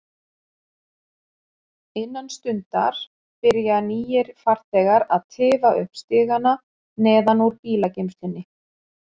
Innan stundar byrja nýir farþegar að tifa upp stigana neðan úr bílageymslunni.